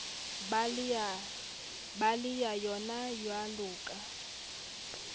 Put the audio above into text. ba le sa yonajwalo ka